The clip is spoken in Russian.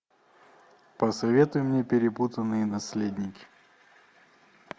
посоветуй мне перепутанные наследники